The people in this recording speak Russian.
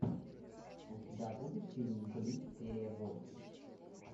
а у тебя будет фильм блич серия восемь